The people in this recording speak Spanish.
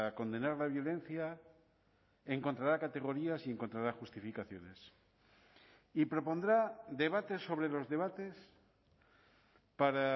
condenar la violencia encontrará categorías y encontrará justificaciones y propondrá debates sobre los debates para